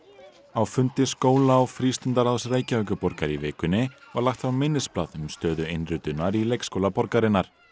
á fundi skóla og Reykjavíkurborgar í vikunni var lagt fram minnisblað um stöðu innritunar í leikskóla borgarinnar